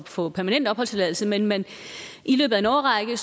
at få permanent opholdstilladelse men men i løbet af en årrække